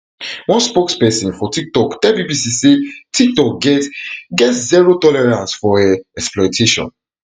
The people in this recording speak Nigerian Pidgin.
one spokesperson for tiktok tell bbc say tiktok get get zero tolerance for um exploitation